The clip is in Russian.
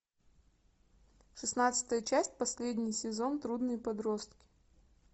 шестнадцатая часть последний сезон трудные подростки